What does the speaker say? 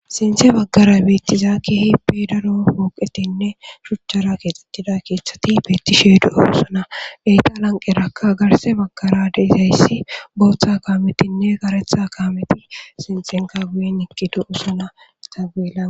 sinthe baggara beittizaa kehippe daro hooqetinne shuchchara keexxettida keethati beetti sheedu7a usuna eyta lanqerakka garse baggara deseyssi booththa kaametinne karetha kaameti sinxenka guye iqkidu usuna taagula